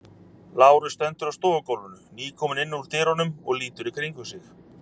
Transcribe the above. Lárus stendur á stofugólfinu, nýkominn inn úr dyrunum og lítur í kringum sig.